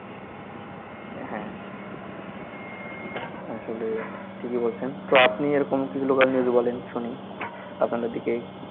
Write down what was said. হ্যা আসলে ঠিকই বলছেন তো আপনি এরকম কিছু local news বলেন শুনি আপনাদের দিকে